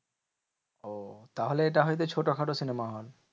ওহ তাহলে এটা হয়তো ছোট খাটো cinema hall.